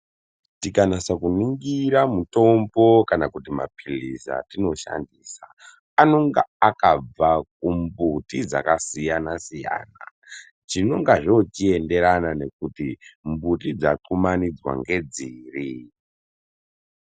Tikanasa kuningira mutombo kana kuti mapilisi atino shandisa anonga akabva ku mbuti dzaka siyana siyana zvinonga zvochi enderana nekuti mbuti dza kumanidzwa ngedziri.